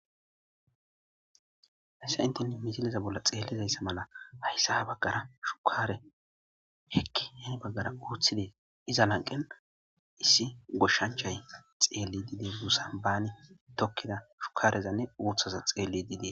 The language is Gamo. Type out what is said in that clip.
Hayssa intene mitileza bolla xeellizayssa mala hayssa ha baggara shukaare hekki heni baggara uuththide iza lanqen issi goshshanchay xeelli diide mussa baani tokkeda shukarezanne uuththaza xeelli diide